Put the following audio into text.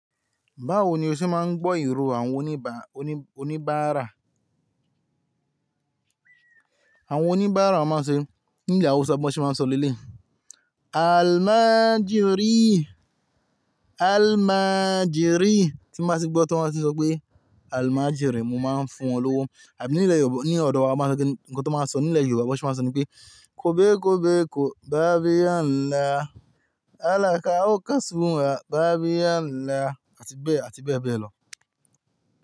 Báwo ni o ṣe máa ń gbọ́ ìró àwọn onibaa oníbàárà? Àwọn oníbàárà máa ń ṣe, ní ilẹ̀ Hausa bí wọ́n ṣe máa ń sọ nílé, "Almajiri, almajiri" tí wọ́n bá ṣe gbọ́, tí wọ́n bá ṣe sọ pé almajiri, mo máa ń fún wọn lówó. Àbí ní ilẹ̀ Yooba, ní ọ̀dọ̀ wa wọ́n máa ń ṣe kí ni nǹkan tí wọ́n máa ń sọ ní ilẹ̀ Yorùbá ẹ bọ́ ṣe máa ń sọ ni pé, "kòbé kòbé kò, bá bí ala, Alaka o kasúa, bá bí ala" àti bẹ́ẹ̀, àti bẹ́ẹ̀ bẹ́ẹ̀ lọ.